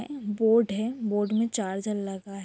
board है board में charger लगा है --